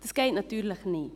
Das geht natürlich nicht.